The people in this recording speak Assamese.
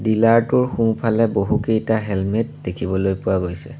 ডিলাৰ টোৰ সোঁফালে বহুকেইটা হেলমেট দেখিবলৈ পোৱা গৈছে।